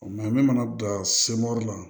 Mɛ n bɛ mana don la